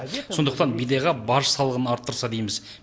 сондықтан бидайға баж салығын арттырса дейміз